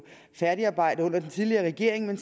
færdigarbejdet under den tidligere regering men